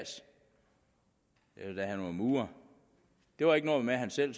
da han var murer det var ikke noget med at han selv